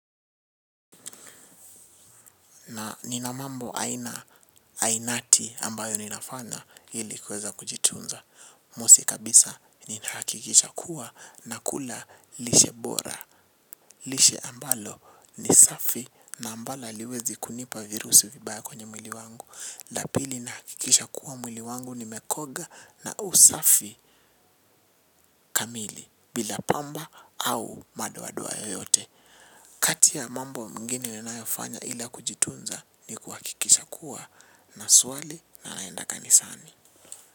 Na ninamambo aina ainati ambayo ninafanya ili kuweza kujitunza. Musi kabisa ninhakikisha kuwa na kula lishe bora. Lishe ambalo ni safi na ambala aliwezi kunipa virusu vibaya kwenye mwili wangu. Lapili na hakikisha kuwa mwili wangu ni mekoga na usafi kamili bila pamba au madoadoa yoyote. Kati ya mambo mgine ninayofanya ila kujitunza ni kuhakikisha kuwa na swali na naenda kanisani.